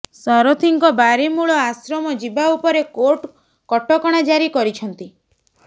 ସାରଥୀଙ୍କ ବାରିମୂଳ ଆଶ୍ରମ ଯିବା ଉପରେ କୋର୍ଟ କଟକଣା ଜାରି କରିଛନ୍ତି